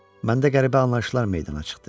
Məndə qəribə anlayışlar meydana çıxdı.